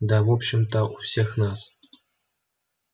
да в общем-то у всех нас